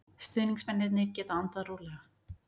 Stuðningsmennirnir geta andað rólega.